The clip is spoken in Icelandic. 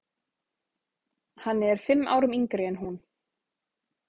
Hann er fimm árum yngri en hún.